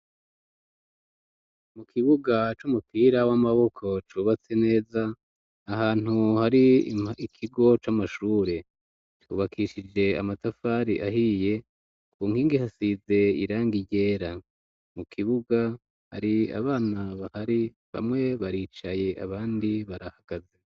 mu kibuga c'umupira w'amaboko cubatse neza ahantu hari ikigo c'amashure kubakishije amatafari ahiye ku nkingi ihasize irangi ryera mu kibuga hari abana bahari bamwe baricaye abandi barahagaze